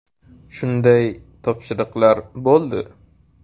Shunday topshiriqlar bo‘ldi.